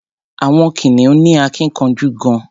Àwọn kìnìún ní akínkanjú gan-an.